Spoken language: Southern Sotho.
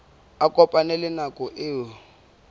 a kopane le nako eo